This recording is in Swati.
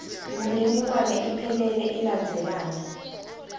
imininingwane iphelele ilandzelana